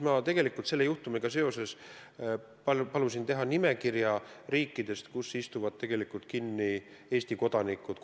Ma palusin selle juhtumiga seoses teha nimekirja riikidest, kus istuvad kinni Eesti kodanikud.